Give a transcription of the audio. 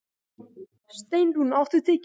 Steinrún, áttu tyggjó?